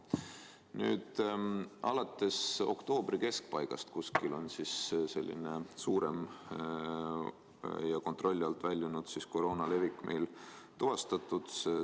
Nüüd on alates oktoobri keskpaigast meil tuvastatud selline suurem ja kontrolli alt väljunud koroona levik.